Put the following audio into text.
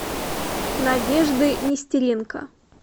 надежды нестеренко